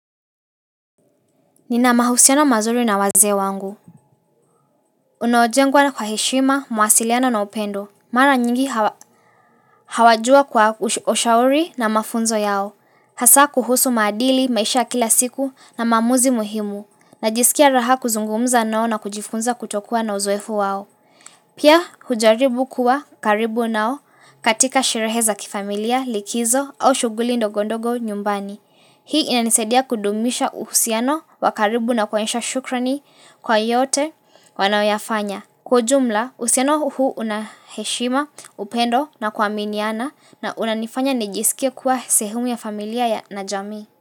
Nina mahusiano mazuri na wazee wangu. Unaojengwa na kwa heshima, mawasiliano na upendo. Mara nyingi hawajua kwa ushauri na mafunzo yao. Hasa kuhusu maadili, maisha ya kila siku na maamuzi muhimu. Najisikia raha kuzungumza nao na kujifunza kutokuwa na uzoefu wao. Pia hujaribu kuwa karibu nao katika shereheza kifamilia, likizo au shughuli ndogondogo nyumbani. Hii inanisaidia kudumisha uhusiano wakaribu na kuonyesha shukrani kwa yote wanaoyafanya. Kwa jumla, uhusiano huu unaheshima, upendo na kuaminiana na unanifanya nijisikie kuwa sehumu ya familia ya najamii.